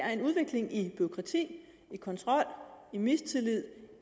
er en udvikling i bureaukrati i kontrol i mistillid